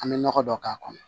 An bɛ nɔgɔ dɔ k'a kɔnɔ